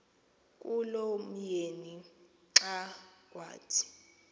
kulomyeni xa kuthi